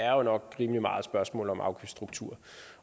er jo nok rimelig meget et spørgsmål om afgiftsstrukturer